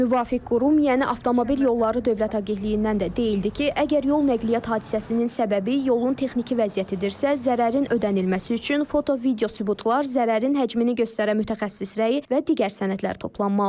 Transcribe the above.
Müvafiq qurum, yəni Avtomobil Yolları Dövlət Agentliyindən də deyildi ki, əgər yol nəqliyyat hadisəsinin səbəbi yolun texniki vəziyyətidirsə, zərərin ödənilməsi üçün foto-video sübutlar, zərərin həcmini göstərən mütəxəssis rəyi və digər sənədlər toplanılmalıdır.